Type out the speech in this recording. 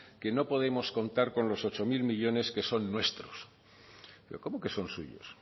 que no podemos contar con los ocho mil millónes que son nuestros pero cómo que son suyos